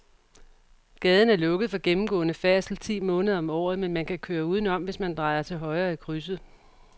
Gaden er lukket for gennemgående færdsel ti måneder om året, men man kan køre udenom, hvis man drejer til højre i krydset.